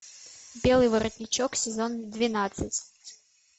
белый воротничок сезон двенадцать